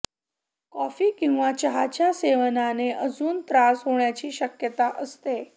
coffee किंवा चहाच्या सेवनाने अजून त्रास होण्याची शक्यता असते